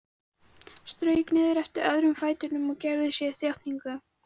Strauk niður eftir öðrum fætinum og gerði sér upp þjáningu.